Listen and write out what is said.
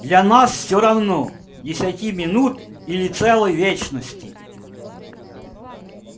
для нас все равно десяти минут или целой вечности